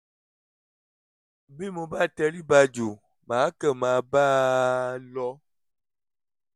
bí mo bá tẹrí ba jù mà á kàn máa bá a lọ